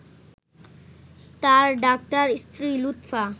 তাঁর ডাক্তার স্ত্রী লুৎফা